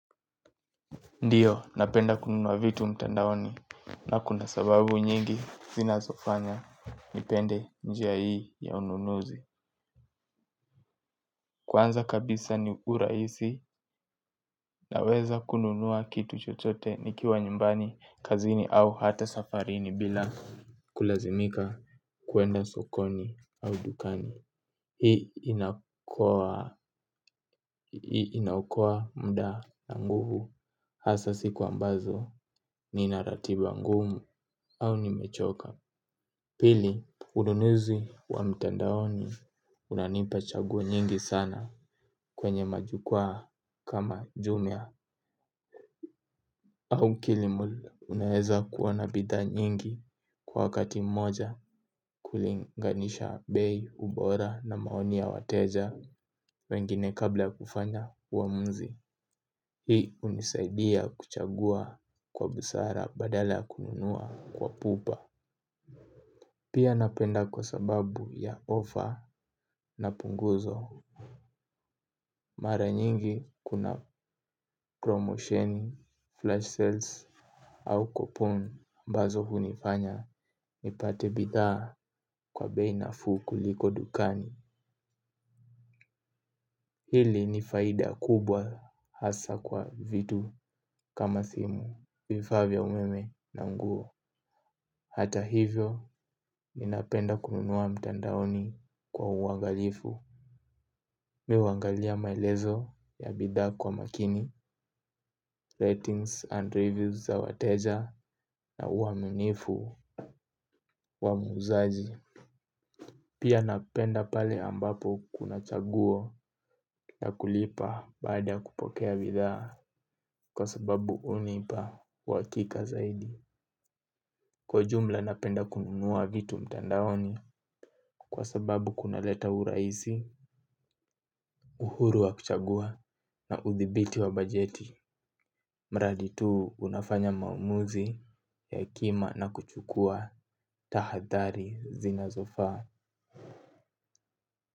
Ndiyo napenda kununua vitu mtandaoni na kuna sababu nyingi zinazofanya nipende njia hii ya ununuzi. Kwanza kabisa ni urahisi naweza kununua kitu chochote nikiwa nyumbani kazini au hata safarini bila kulazimika kuenda sokoni au dukani. Hii ina okoa muda na nguvu hasa siku ambazo nina ratiba ngumu au nimechoka. Pili, ununuzi wa mtandaoni unanipa chagua nyingi sana kwenye majukwa kama jumia. Au kilimal unaeza kuona bidhaa nyingi kwa wakati mmoja kulinganisha bei ubora na maoni ya wateja wengine kabla kufanya uamuzi. Hii hunisaidia kuchagua kwa busara badala kununua kwa pupa. Pia napenda kwa sababu ya offer na punguzo. Mara nyingi kuna promosheni, flash sales au coupon ambazo hunifanya nipate bidhaa kwa bei nafuu kuliko dukani. Hili ni faida kubwa hasa kwa vitu kama simu vifaa vya umeme na nguo. Hata hivyo ninapenda kununua mtandaoni kwa uangalifu Mi huangalia maelezo ya bidhaa kwa makini Ratings and reviews za wateja. Na uaminifu wa muuzaji. Pia napenda pale ambapo kuna chaguo ya kulipa baada kupokea bidhaa. Kwa sababu hunipa uhakika zaidi. Kwa jumla napenda kununua vitu mtandaoni. Kwa sababu kuna leta urahisi, uhuru wa kuchagua na uthibiti wa bajeti. Mradi tu unafanya maamuzi ya hekima na kuchukua tahadhari zinazofaa.